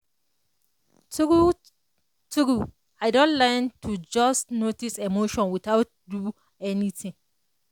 true-true i don learn to just notice emotions without do anything.